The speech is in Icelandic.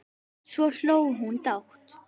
Svo hló hún dátt.